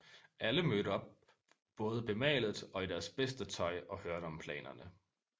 Alle mødte op både bemalet og i deres bedste tøj og hørte om planerne